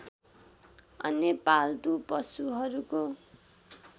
अन्य पाल्तू पशुहरूको